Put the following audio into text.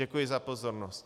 Děkuji za pozornost.